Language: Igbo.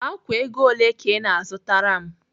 Ákwà ego ole ka ị na-azụtara m?